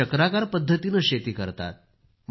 चक्राकार पद्धतीनं ते शेती करतात